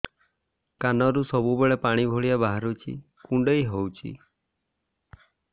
କାନରୁ ସବୁବେଳେ ପାଣି ଭଳିଆ ବାହାରୁଚି କୁଣ୍ଡେଇ ହଉଚି